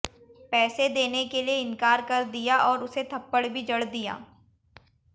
पैसे देने के लिए इंकार कर दिया और उसे थप्पड़ भी जड़ दिया